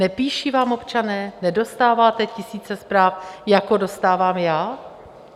Nepíší vám občané, nedostáváte tisíce zpráv, jako dostávám já?